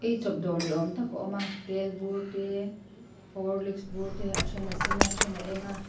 eichawp dawr ni awm tak a awm a tel bur te horlicks bur te a then a sen a a then a eng a.